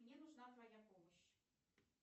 мне нужна твоя помощь